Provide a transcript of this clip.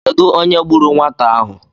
Kedụ onye gburu nwata ahụ?